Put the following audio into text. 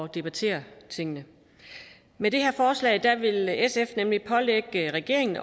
debattere tingene med det her forslag vil sf nemlig pålægge regeringen